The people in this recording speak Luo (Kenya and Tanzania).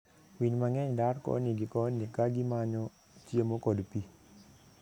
Winy mang'eny dar koni gi koni ka gimanyo chiemo kod pi.